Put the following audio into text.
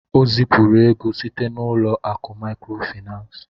O zipuru ego site n'ụlọ akụ maịkrofaịnans.